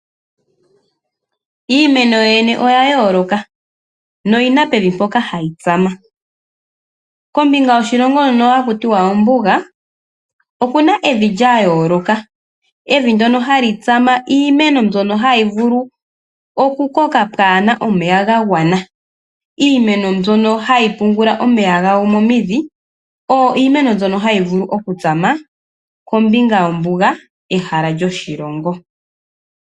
Iimeno yoyene oya yooloka noyina pevi mpoka hayi tsama. Kombinga yoshilongo hono haku tiwa ombuga okuna evi lya yooloka, evi ndono hali tsama iimeno mbyono hayi vulu oku koka pwaana omeya ga gwana oyo. Iimeno mbyono hayi pungula omeya gayo momidhi oyo iimeno mbyono hayi vulu oku tsama kombinga yombuga ehala lyoshilongo.